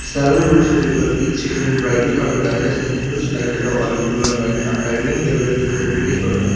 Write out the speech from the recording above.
several groups of people each seated in brightly coloured kayakas in a huge like yellow orange blue and white are paddling through the greenish water.